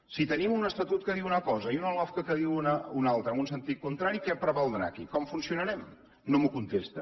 si tenim un estatut que diu una cosa i una lofca que en diu una altra en un sentit contrari què prevaldrà aquí com funcionarem no m’ho contesta